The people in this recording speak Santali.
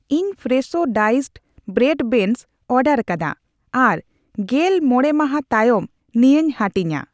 ᱤᱧ ᱯᱷᱨᱮᱥᱷᱳ ᱰᱟᱭᱤᱥᱰ ᱵᱨᱚᱰ ᱵᱮᱱᱚᱥ ᱚᱰᱟᱨᱟᱠᱟᱫᱟ ᱟᱨᱜᱮᱞ ᱢᱚᱲᱮ ᱢᱟᱦᱟ ᱛᱟᱭᱚᱢ ᱱᱤᱭᱟᱹᱧ ᱦᱟᱹᱴᱤᱧᱟ ᱾